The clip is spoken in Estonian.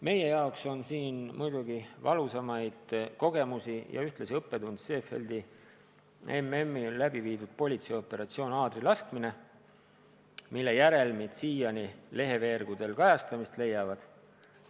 Meie jaoks on muidugi üks kõige valusam kogemus ja ühtlasi õppetund Seefeldi MM-il läbi viidud politseioperatsioon "Aadrilaskmine", mille järelmid siiani leheveergudel kajastamist leiavad.